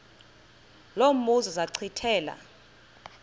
lo mbuzo zachithela